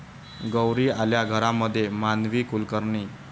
गौरी आल्या घरा'मध्ये माधवी कुलकर्णी